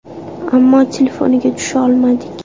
Ammo telefoniga tusha olmadik.